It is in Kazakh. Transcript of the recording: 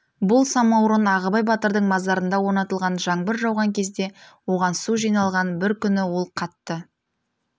бұл самаурын ағыбай батырдың мазарында орнатылған жаңбыр жауған кезде оған су жиналған бір күні ол қатты